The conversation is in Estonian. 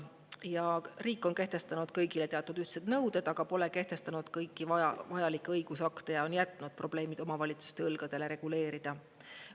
Ja riik on kehtestanud kõigile teatud ühtsed nõuded, aga pole kehtestanud kõiki vajalikke õigusakte ja on jätnud probleemid omavalitsuste õlgadele reguleerida.